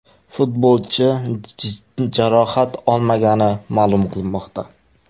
Futbolchi jarohat olmagani ma’lum qilinmoqda.